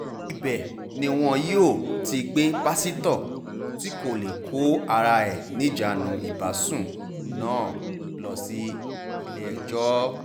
ibẹ̀ ni wọn yóò ti gbé pásítọ̀ tí kò lè kó ara ẹ̀ níjànú ìbásùn náà lọ sílé-ẹjọ́